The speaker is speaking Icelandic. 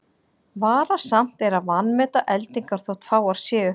Varasamt er að vanmeta eldingar þótt fáar séu.